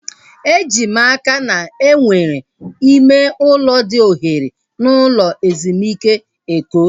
Eji m n'aka na enwere ime ụlọ dị ohere n'ụlọ ezumike Eko